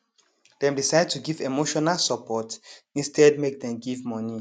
dem decide to give emotional support instead make dem give money